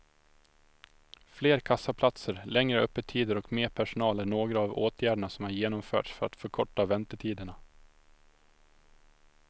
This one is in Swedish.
Fler kassaplatser, längre öppettider och mer personal är några av åtgärderna som har genomförts för att förkorta väntetiderna.